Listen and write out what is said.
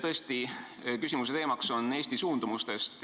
Tõesti, küsimuse teema on "Eesti suundumused".